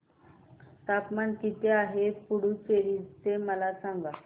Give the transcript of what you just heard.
तापमान किती आहे पुडुचेरी चे मला सांगा